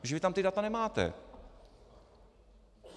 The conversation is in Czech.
Protože vy tam ta data nemáte.